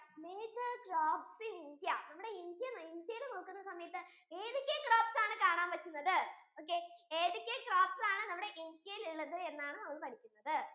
major crops inIndia നമ്മുടെ India ഇൽ നോക്കുന്ന സമയത്തു ഏതൊക്കെ crops ആണ് കാണാൻ പറ്റുന്നത് okay ഏതൊക്കെ crops ആണ് നമ്മുടെ India യിൽ ഇള്ളത് എന്നാണ് നമ്മൾ പഠിക്കുന്നത്